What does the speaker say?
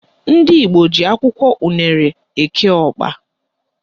Ndị Igbo ji akwụkwọ unere eke ọkpa